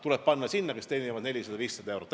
Tuleb anda nendele, kes teenivad 400–500 eurot.